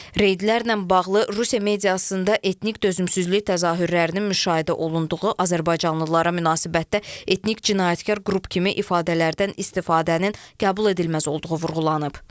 Reydlərlə bağlı Rusiya mediasında etnik dözümsüzlük təzahürlərinin müşahidə olunduğu, azərbaycanlılara münasibətdə etnik cinayətkar qrup kimi ifadələrdən istifadənin qəbul edilməz olduğu vurğulanıb.